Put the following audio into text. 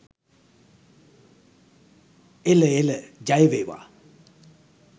එල එල ජයවේවා.